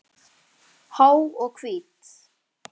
Há og hvít.